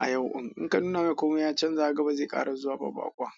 a yau. In ka nuna mai komai ya canza kaga ba zai ƙara zuwa ba baƙon.